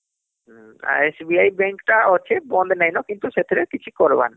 ଆଉ SBI Bank ଟା ଅଛେ ବନ୍ଦ ନାଇନ କିନ୍ତୁ ସେଟା ରେ କିଛି କରବାର ନାଇନ